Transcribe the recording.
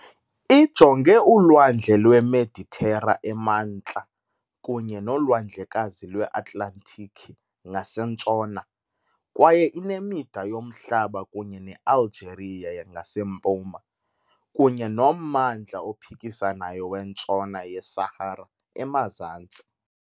Ijonge uLwandle lweMeditera emantla kunye noLwandlekazi lweAtlantiki ngasentshona, kwaye inemida yomhlaba kunye neAlgeria ngasempuma, kunye nommandla ophikisanayo weNtshona yeSahara emazantsi .